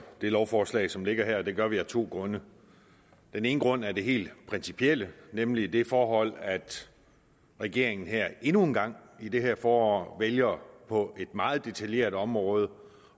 det lovforslag som ligger her og det gør vi af to grunde den ene grund er det helt principielle nemlig det forhold at regeringen her endnu en gang i det her forår vælger på et meget detaljeret område